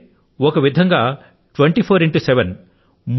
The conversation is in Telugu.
అంటే ఒక విధం గా ప్రతి రోజూ 24 గంటలూ